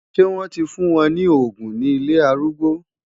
Ṣé wọ́n ti fún wọn ní òògùn ní ilé arúgbó?